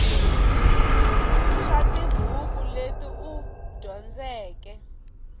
swa tibuku leti u dyondzeke